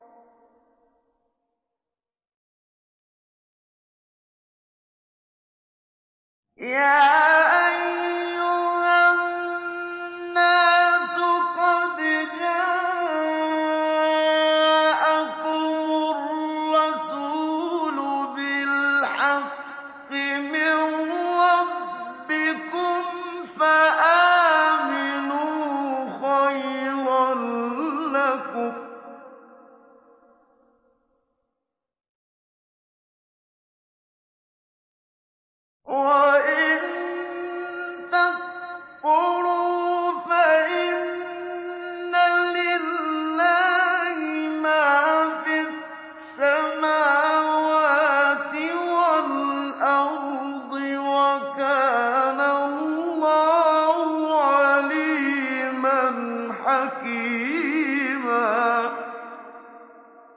يَا أَيُّهَا النَّاسُ قَدْ جَاءَكُمُ الرَّسُولُ بِالْحَقِّ مِن رَّبِّكُمْ فَآمِنُوا خَيْرًا لَّكُمْ ۚ وَإِن تَكْفُرُوا فَإِنَّ لِلَّهِ مَا فِي السَّمَاوَاتِ وَالْأَرْضِ ۚ وَكَانَ اللَّهُ عَلِيمًا حَكِيمًا